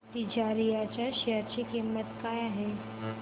तिजारिया च्या शेअर ची किंमत काय आहे